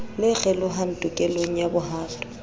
le kgelohang tokelong ya bohato